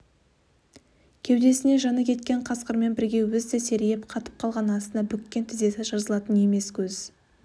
кеудесінен жаны кеткен қасқырмен бірге өзі де серейіп қатып қалған астына бүккен тізесі жазылатын емес көз